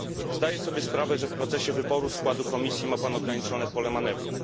Zdaję sobie sprawę, że w procesie wyboru składu Komisji ma pan ograniczone pole manewru.